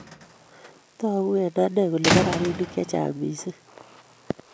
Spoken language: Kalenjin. Tagu eng anee kole po rabinik che chang mising